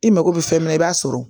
I mako bɛ fɛn min na i b'a sɔrɔ